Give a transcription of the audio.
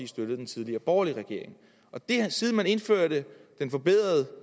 støttede den tidligere borgerlige regering og siden man indførte